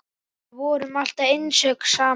Þið voruð alltaf einstök saman.